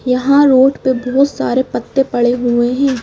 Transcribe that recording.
यहाँ रोड पर बहुत सारे पत्ते पड़े हुए हैं।